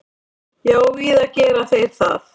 Já, víða gera þeir það.